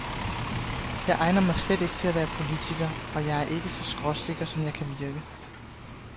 Jeg egner mig slet ikke til at være politiker, og jeg er ikke så skråsikker, som jeg kan virke.